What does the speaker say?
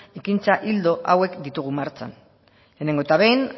ekintza ildo hauek ditugu martxan lehenengo eta behin